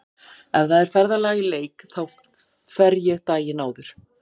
Ef það er ferðalag í leik þá fer ég daginn áður.